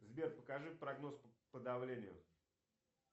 сбер покажи прогноз по давлению